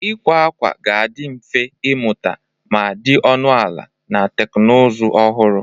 Ịkwa akwa ga-adị mfe ịnweta ma dị ọnụ ala, na teknụzụ ọhụrụ.